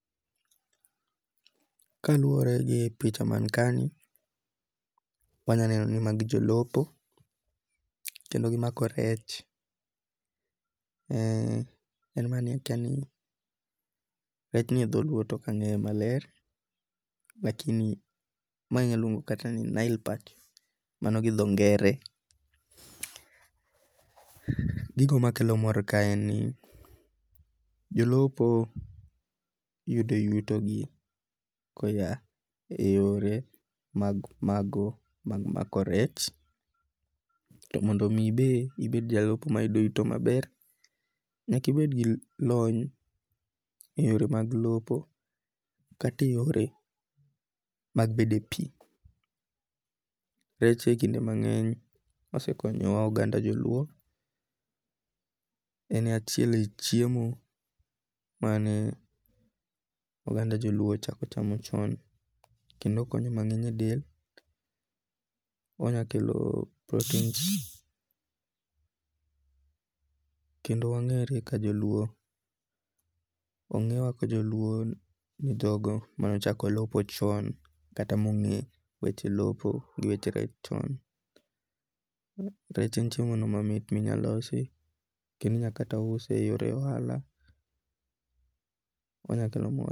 Kaluwore gi picha man ka ni wanyaneno ni magi jolupo kendo gimako rech. En mana ni akia ni rech ni e dholuo to ok ang'eyo maler. Lakini mae inya luongo kata mana ni nile perch. Mano gi dho ngere. Gigo makelo mor ka en ni jolupo yudo yuto gi koya eyore mag mag mako rech. To mondo mi be ibed jalupo mayudo yuto maber nyakibed gi lony e yore mag lupo kata e yore mag bede pi. Rech e kinde mang'eny osekonyowa oganda joluo. En achiel e chiemo mane oganda joluo ochako chamo chon kendo okonyo mang'eny e del. Onya kelo proteins. Kendo wang'ere ka joluo onge wa ka joluo ni dhok manochako lupo chon kata mong'e weche lupo gi weche rech chon. Rech en chiemo mamit minya losi kendo inya kata use e yore ohala onya kelo mwandu.